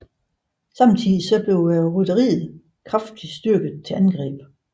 Samtidig blev rytteriet kraftigt styrket til angreb